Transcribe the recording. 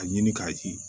A ɲini k'a ye